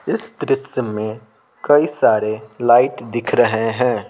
इस दृश्य में कई सारे लाइट दिख रहे हैं।